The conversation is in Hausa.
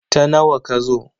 Ta nawa ka zo?